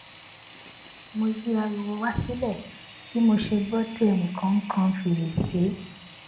mo yí ariwo wá sílè bí mo ṣe gbó tí ẹnì kan kan fèrèsé